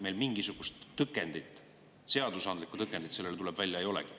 Meil mingisugust tõkendit, seadusandlikku tõkendit sellele, tuleb välja, ei olegi.